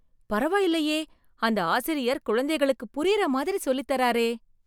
பரவாயில்லையே அந்த ஆசிரியர் குழந்தைகளுக்கு புரியிற மாதிரி சொல்லித்தராரே!